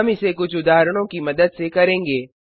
हम इसे कुछ उदाहरणों की मदद से करेंगे